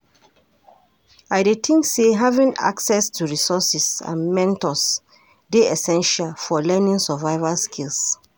I dey think say having access to resources and mentors dey essential for learning survival skills.